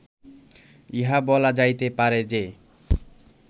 ইহা বলা যাইতে পারে যে